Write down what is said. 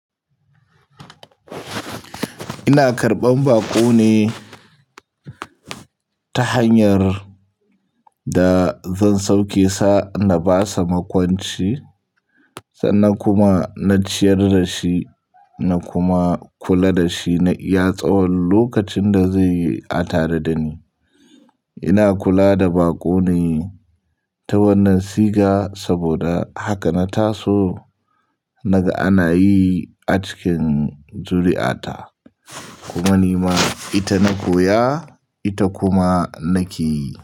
Ina karɓan baƙo ne ta hanyar da zan sauke sa na bashi makwanci sannan kuma na ciyar da shi na kuma kula da shi na iya tsawon lokacin da zai yi a tare da ni. Ina kula da baƙo ne ta wannan siga saboda haka na taso naga ana yi a cikin zuri'a ta kuma ni ma ita na koya ita kuma nake yi.